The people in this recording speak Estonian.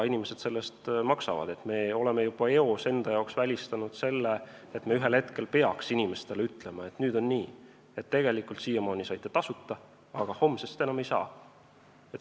Me oleme juba eos enda jaoks välistanud selle, et me ühel hetkel peaks inimestele ütlema, et nüüd on nii, et siiamaani saite tasuta, aga homsest enam ei saa.